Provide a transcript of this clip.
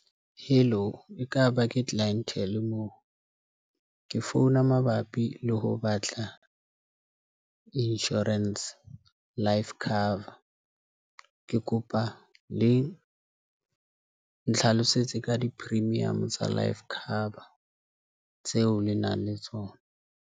Hello, ekaba ke Clientele moo ke founa mabapi le ho batla insurance life cover, ke kopa le nhlalosetse ka di-premium tsa life cover tseo le nang le tsona.